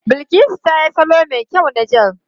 Bilkisu ta yi salo mai kyau na jel.